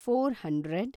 four hundred